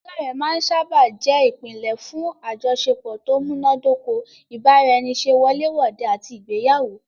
Ìbánidọ́ọ̀rẹ́ máa n sáábà jẹ́ ìpínlẹ̀ fún àjọṣepọ̀ tó múná dóko, ìbára ẹni ṣe wọlé wòde àti ìgbéyàwó